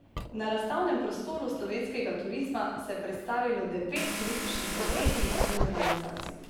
Na razstavnem prostoru slovenskega turizma se je predstavilo devet turističnih podjetij in organizacij.